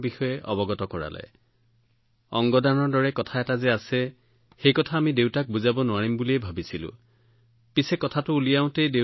আমি আমাৰ দেউতাক কব নোৱাৰিলোঁ যে অংগ দানৰ দৰে কিবা আছে কিয়নো আমি অনুভৱ কৰিছিলো যে তেওঁ সেইটো মানি লব নোৱাৰিব সেয়েহে আমি তেওঁৰ মনৰ পৰা এয়া আঁতৰাব বিচাৰিছিলো যে তেনেকুৱা কিবা চলি আছে